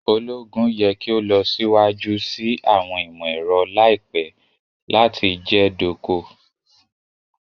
Ologun yẹ ki o lọ siwaju si awọn imọ-ẹrọ laipẹ lati jẹ doko